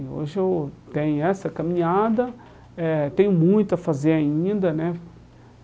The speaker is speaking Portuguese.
E hoje eu tenho essa caminhada, eh tenho muito a fazer ainda, né?